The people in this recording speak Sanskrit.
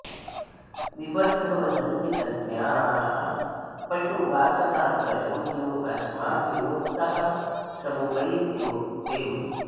निबद्ध वदन्ति तज्ज्ञाः पटु वासनात्रयं योऽस्माद्विमुक्तः समुपैति मुक्तिम्